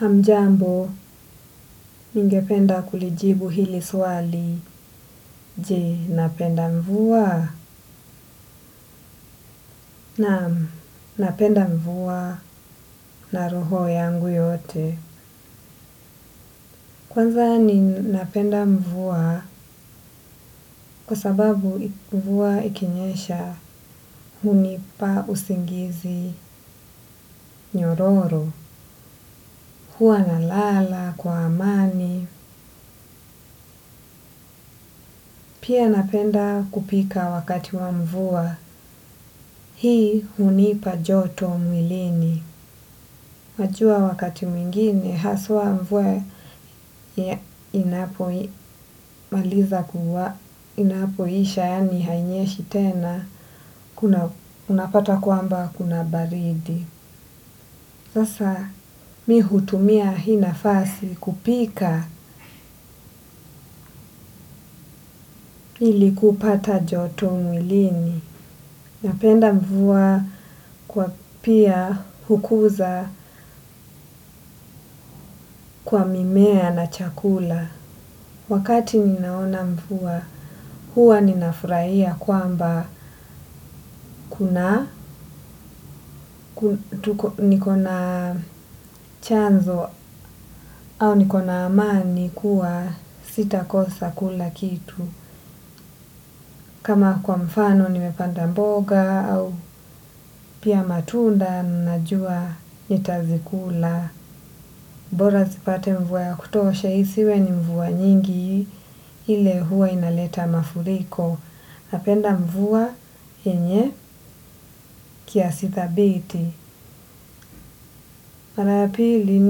Hamjambo, ningependa kulijibu hili swali, je, napenda mvuwa? Naam, napenda mvuwa na roho yangu yote. Kwanza ni napenda mvuwa kwa sababu mvuwa ikinyesha, hunipa usingizi nyororo. Huwa nalala, kwa amani, pia napenda kupika wakati wa mvuwa. Hii hunipa joto mwilini. Wajua wakati mwingine haswa mvuwa, inapo, inapomaliza kuwa, inapoisha yani hainyeshi tena unapata kwamba kuna baridi. Sasa mi hutumia hii nafasi kupika ili kupata joto mwilini. Napenda mvuwa kwa pia hukuza kwa mimea na chakula. Wakati ninaona mvuwa, huwa ninafurahia kwamba kuna, tuko, niko na chanzo au niko na amani kuwa sita kosa kula kitu. Kama kwa mfano nimepanda mboga au pia matunda ninajua nitazikula. Bora zipate mvuwa ya kutosha, isiwe ni mvuwa nyingi ile huwa inaleta mafuriko. Napenda mvuwa yenye kiasi dhabiti. Mara ya pili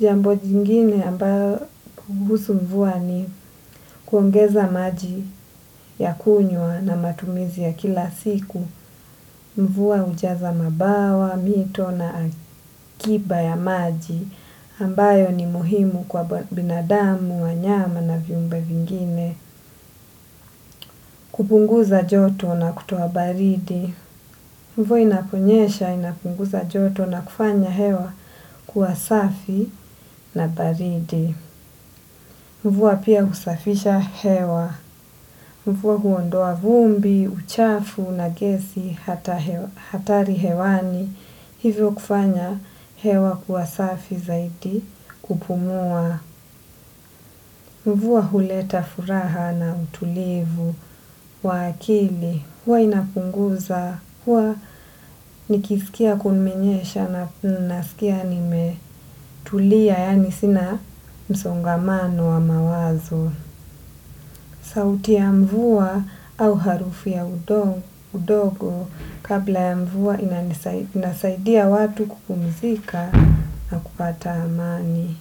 jambo jingine ambayo kuhusu mvuwa ni kuongeza maji ya kunywa na matumizi ya kila siku. Mvuwa hujaza mabawa, mito na akiba ya maji ambayo ni muhimu kwa binadamu, wanyama na viumbe vingine. Kupunguza joto na kutowa baridi. Mvuwa inaponyesha, inapunguza joto na kufanya hewa kuwa safi na baridi. Mvuwa pia husafisha hewa. Mvuwa huondoa vumbi, uchafu, na gesi, hatari hewani. Hivyo kufanya hewa kuwa safi zaidi kupumuwa. Mvuwa huleta furaha na utulivu wa akili. Huwa inapunguza, huwa nikisikia kumenyesha na nasikia nimetuliya, yani sina msongamano wa mawazo. Sauti ya mvuwa au harufi ya udongo, kabla ya mvua inasaidia watu kupumzika na kupata amani.